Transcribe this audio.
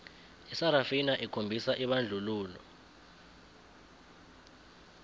isarafina okhombisa ibandlululo